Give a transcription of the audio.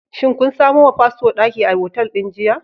Shin kun samo wa fasto daki a otal din jiya?